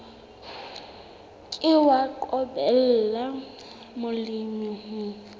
ke wa qobella molemi ho